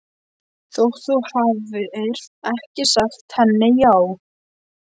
Þótt þú hafir ekki sagt henni- já